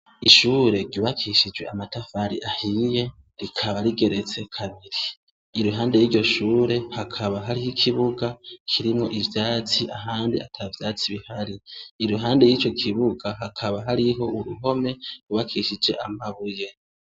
Ishure ryubakishije amatafari ahiye, rikaba rigeretse kabiri. Iruhande y’iryo shure, hakaba harih’ikibuga kirimwo ivyatsi ahandi atavyatsi bihari. Iruhande yico kibuga hakaba hariho urhome rwubakishije amabuye.